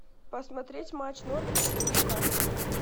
посмотреть матч норвича и нью касл